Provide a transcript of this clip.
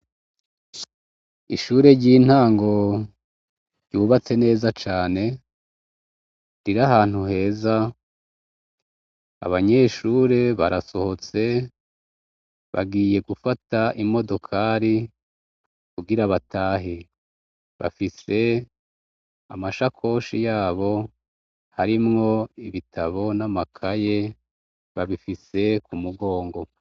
Ishure ry'intango ryubatse neza cane riri ahantu heza. Abanyeshure barasohotse bagiye gufata imodokari kugira batahe, bafise amashakoshi yabo arimwo ibitabo n'amakaye, babifise ku mugongo.